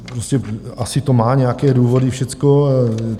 Prostě asi to má nějaké důvody všecko.